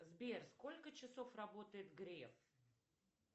сбер сколько часов работает греф